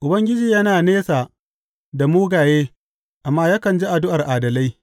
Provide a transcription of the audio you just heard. Ubangiji yana nesa da mugaye amma yakan ji addu’ar adalai.